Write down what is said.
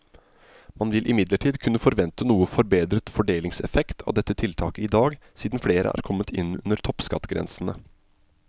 Man vil imidlertid kunne forvente noe forbedret fordelingseffekt av dette tiltaket i dag, siden flere er kommet inn under toppskattgrensene.